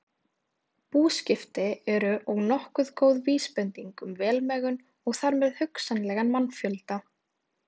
Búskipti eru og nokkuð góð vísbending um velmegun og þar með hugsanlega mannfjölda.